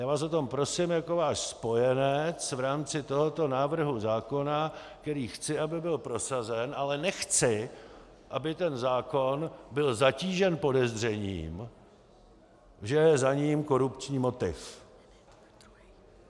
Já vás o to prosím jako váš spojenec v rámci tohoto návrhu zákona, který chci, aby byl prosazen, ale nechci, aby ten zákon byl zatížen podezřením, že je za ním korupční motiv.